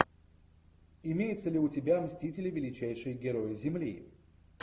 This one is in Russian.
имеется ли у тебя мстители величайшие герои земли